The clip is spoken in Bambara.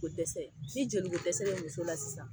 Kodɛsɛ ni jolikodɛsɛ bɛ muso la sisan